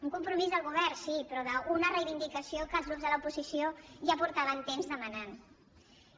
un compromís del govern sí però d’una reivindicació que els grups de l’oposició ja feia temps que demanàvem